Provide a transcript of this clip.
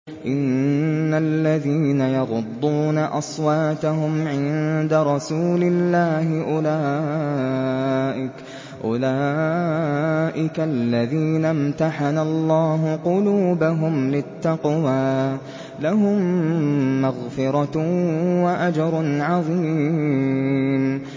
إِنَّ الَّذِينَ يَغُضُّونَ أَصْوَاتَهُمْ عِندَ رَسُولِ اللَّهِ أُولَٰئِكَ الَّذِينَ امْتَحَنَ اللَّهُ قُلُوبَهُمْ لِلتَّقْوَىٰ ۚ لَهُم مَّغْفِرَةٌ وَأَجْرٌ عَظِيمٌ